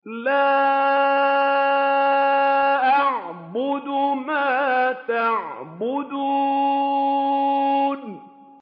لَا أَعْبُدُ مَا تَعْبُدُونَ